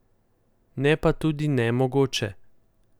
Ne pa tudi nemogoče.